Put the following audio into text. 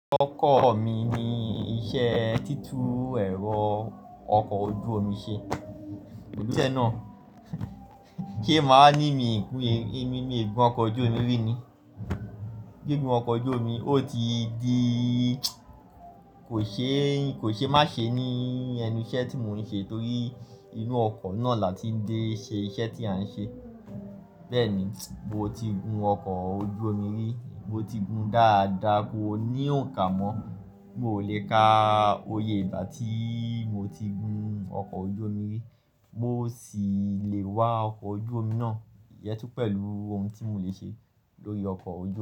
Ọkọ̀ mi ni iṣẹ́ títú ẹ̀rọ ọkọ̀ ojú omi ṣe. Náà, se a máa wa ní mi èmi mi gun ọkọ̀ ojú omi rí ni. Gígùn ọkọ̀ ojú omi, ó ti di kò ṣe, kò ṣe má ṣe ní ẹnu iṣẹ́ tí mò ń ṣe torí inú ọkọ̀ náà là tí dẹ́ ṣe iṣẹ́ tí à ń ṣe. Bẹ́ẹ̀ni, mo ti gun ọkọ̀ ojú omi rí, mo ti gun dáadáa, kò ní òǹkà mọ́. Mo lè ka oyè ígbà tí mo ti gun ọkọ̀ ojú omi rí, mó sì le wá ọkọ̀ ojú omi náà iyẹ́ tún pẹ̀lú ohun tí mò lè ṣe lórí ọkọ̀ ojú omi.